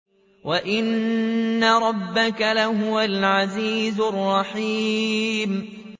وَإِنَّ رَبَّكَ لَهُوَ الْعَزِيزُ الرَّحِيمُ